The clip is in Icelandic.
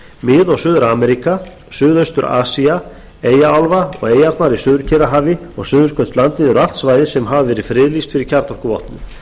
mið og suður ameríka suðaustur asía eyjaálfa og eyjarnar í suður kyrrahafi og suðurskautslandið eru allt svæði sem hafa verið friðlýst fyrir kjarnorkuvopnum